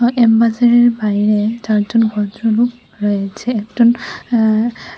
M বাজারের বাইরে চারজন ভদ্রলোক রয়েছেন একজন এ্যাঁ--